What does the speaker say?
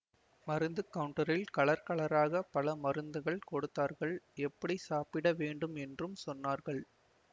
மருந்து கௌன்டரில் கலர் கலராக பல மருந்துகள் கொடுத்தார்கள் எப்படி சாப்பிட வேண்டும் என்றும் சொன்னார்கள்